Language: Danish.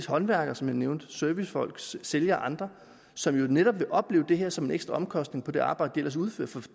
håndværkere som jeg nævnte servicefolk sælgere og andre som netop vil opleve det her som en ekstra omkostning på det arbejde de ellers udfører